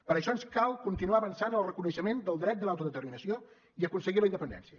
per això ens cal continuar avançant en el reconeixement del dret de l’autodeterminació i aconseguir la independència